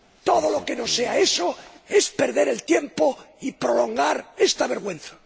Todo lo que no sea eso es perder el tiempo y prolongar esta vergüenza.